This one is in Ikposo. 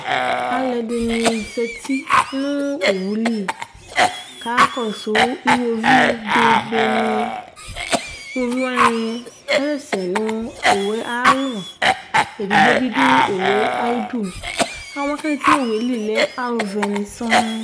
Alu ɛdini za uti nu owuli ka akɔsu iɣoviu bebeni Iɣoviwani kasɛsɛ nu owu ayu alɔ Edigbo bi du owu yɛ ayidu Ɔluwa ku aza uti nu owueli zlɛ alu vɛ ni sɔŋ